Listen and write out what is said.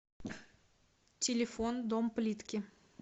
телефон дом плитки